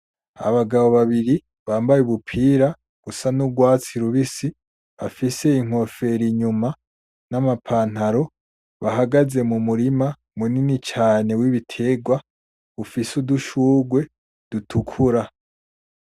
Abagabo babiri bambaye ubupira busa nurwatsi rubisi bafise inkofero inyuma n,amapantalo bahagaze mumurima munini cane wibiterwa ufise udushugwe dutukura .